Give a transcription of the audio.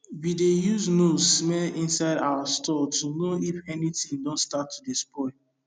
we dey use nose smell inside our store to know if anything don start to spoil